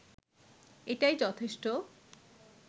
এটাই যথেষ্ট